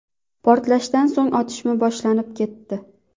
Portlashdan so‘ng otishma boshlanib ketdi.